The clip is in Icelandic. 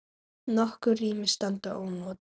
Nokkur rými standa ónotuð.